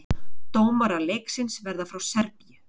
Dómarar leiksins verða frá Serbíu